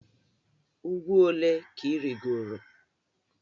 Ugwu ole ka i rigoro?